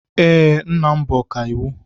Ee, nna m bụ ọkàiwu.